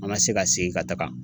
An ma se ka segin ka taga